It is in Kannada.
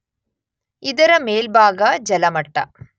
ಇದರ ಮೇಲ್ಭಾಗ ಜಲಮಟ್ಟ.